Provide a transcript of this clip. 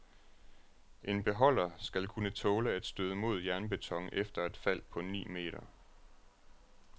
En beholder skal kunne tåle at støde mod jernbeton efter et fald på ni meter.